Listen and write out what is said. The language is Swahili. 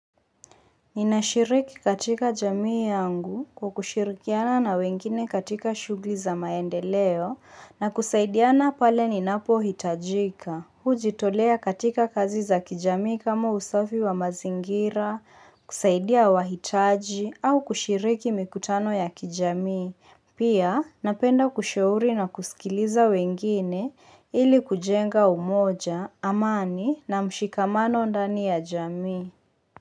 Ninashiriki katika jamii yangu, kwa kushirikiana na wengine katika shughuli za maendeleo na kusaidiana pale ninapo hitajika, hujitolea katika kazi za kijamii kama usafi wa mazingira, kusaidia wahitaji au kushiriki mikutano ya kijamii, pia napenda kushauri na kusikiliza wengine ili kujenga umoja, amani na mshikamano ndani ya jamii.